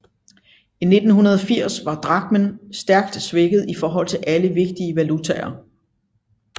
I 1980 var drakmen stærkt svækket i forhold til alle vigtige valutaer